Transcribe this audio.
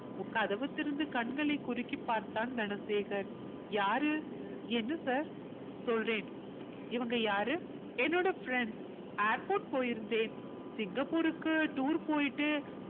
கதவு திறந்து கண்களை குறுக்கிப் பார்த்தான் தனசேகர் யாரு என்ன sir சொல்றேன் இவங்க யாரு என்னோட friendsairport போயிருந்தேன் சிங்கப்பூருக்கு tour போயிட்டு